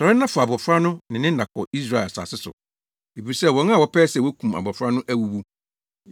“Sɔre na fa abofra no ne ne na kɔ Israel asase so, efisɛ wɔn a wɔpɛe sɛ wokum abofra no awuwu.”